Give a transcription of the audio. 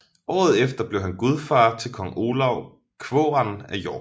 Året efter blev han gudfar til kong Olav Kvåran af York